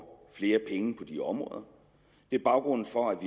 flere penge på de områder det er baggrunden for at vi